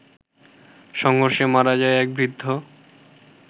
সংঘর্ষে মারা যায় এক বৃদ্ধ